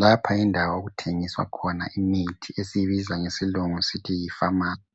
Lapha yindawo okuthengiswa khona imithi esiyibiza ngesilungu sithi yi famasi.